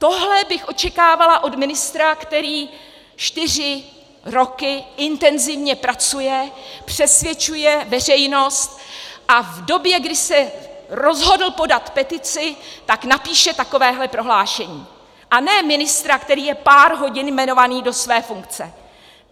Tohle bych očekávala od ministra, který čtyři roky intenzivně pracuje, přesvědčuje veřejnost a v době, kdy se rozhodl podat petici, tak napíše takovéhle prohlášení, a ne ministra, který je pár hodin jmenovaný do své funkce.